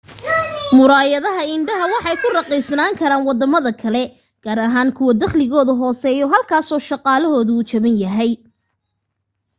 murayadaha indhaha waxay ku raqiisnaan karaan wadamada kale gaar ahaan kuwa daqligooda hooseeyo halkaas oo shaqalahoda uu jaban yahay